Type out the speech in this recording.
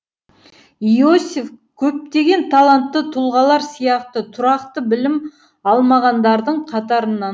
иосиф көптеген талантты тұлғалар сияқты тұрақты білім алмағандардың қатарынан